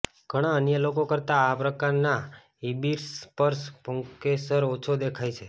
ઘણા અન્ય લોકો કરતાં આ પ્રકારના હિબિસ્સ પર પુંકેસર ઓછો દેખાય છે